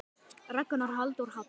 Ragnar Halldór Hall.